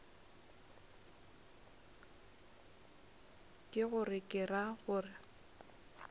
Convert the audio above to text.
ke gore ke ra gore